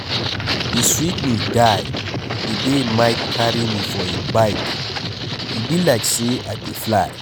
E sweet me die the day Mike carry me for im bike, e be like say I dey fly.